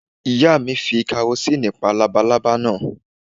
Ìyá mi ti fi karosínì pa lábalábá náà